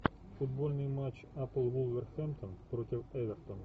футбольный матч апл вулверхэмптон против эвертон